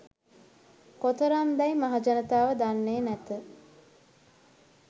කොතරම් දැයි මහජනතාව දන්නේ නැත.